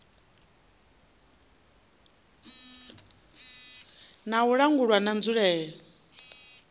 na u langulwa na nzulele